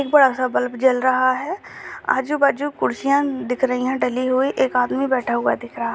एक बड़ा-सा बल्ब जल रहा हैआजू-बाजू कुर्सियाँ दिख रही है डली हुई एक आदमी बैठा हुआ दिख रहा ----